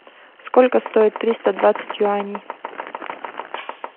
сколько стоит триста двадцать юаней